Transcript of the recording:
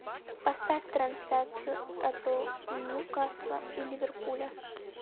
поставь трансляцию апл ньюкасла и ливерпуля